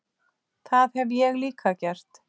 Það hef ég líka gert.